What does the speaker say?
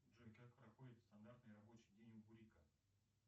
джой как проходит стандартный рабочий день у кулика